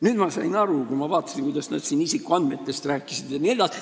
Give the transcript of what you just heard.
Nüüd ma sain aru, kui ma vaatasin, kuidas nad siin isikuandmetest rääkisid jne.